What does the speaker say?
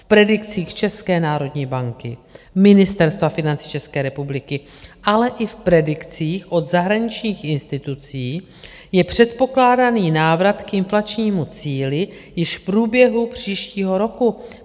V predikcích České národní banky, Ministerstva financí České republiky, ale i v predikcích od zahraničních institucí je předpokládaný návrat k inflačnímu cíli již v průběhu příštího roku.